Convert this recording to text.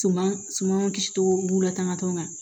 Suman suman kisi togo latigɛ ma